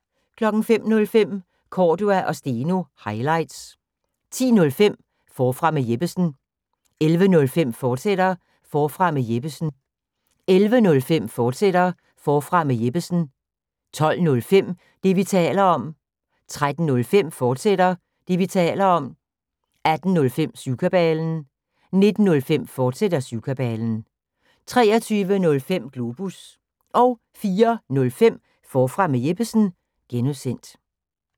05:05: Cordua & Steno – highlights 10:05: Forfra med Jeppesen 11:05: Forfra med Jeppesen, fortsat 12:05: Det, vi taler om 13:05: Det, vi taler om, fortsat 18:05: Syvkabalen 19:05: Syvkabalen, fortsat 23:05: Globus 04:05: Forfra med Jeppesen (G)